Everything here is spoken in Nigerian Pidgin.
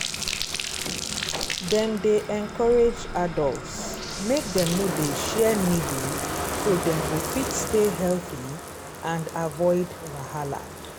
dem dey encourage adults make dem no dey share needle so dem go fit stay healthy and avoid wahala